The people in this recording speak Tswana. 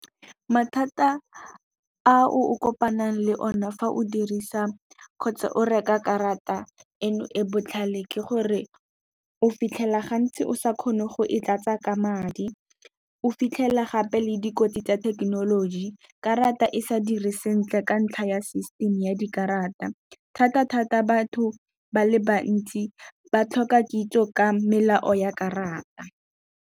Mathata a o kopanang le one fa o dirisa kgotsa o reka karata eno e botlhale, ke gore o fitlhela gantsi o sa kgone go e tlatsa ka madi. O fitlhela gape le dikotsi tsa thekenoloji karata e sa dire sentle ka ntlha ya system ya dikarata, thata thata batho ba le bantsi ba tlhoka kitso ka melao ya karata.